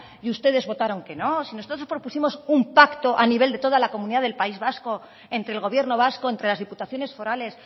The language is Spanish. y ustedes votaron que no si nosotros propusimos un paco a nivel de toda la comunidad del país vasco entre el gobierno vasco entre las diputaciones forales